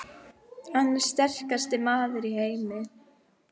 Hann er sterkasti maður í heimi!